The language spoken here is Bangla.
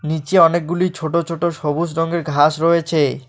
নীচে অনেকগুলি ছোট ছোট সবুজ রঙের ঘাস রয়েছে।